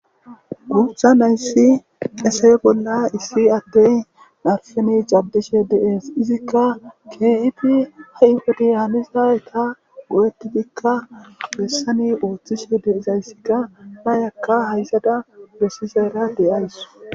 gurtha nayssi esee bolla issi addey narfeni caddishe deees izikka kifi ha7ifodiyaanizaeta go7ettidikka gessani ooththishe deizayssikka nayakka hayzada bessizera deyays